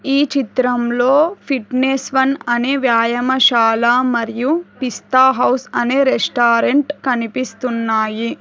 ఈ చిత్రంలో fitness one అనే వ్యాయామశాల మరియు పిస్తా హౌస్ అనే రెస్టారెంట్ కనిపిస్తున్నాయి.